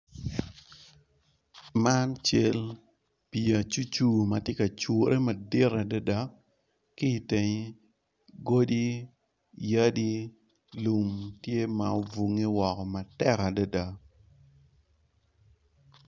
Man, cal pii acucu ma tye ka cure madit adada ki itenge godi, yadi, lum tye ma obunge woko matek adada.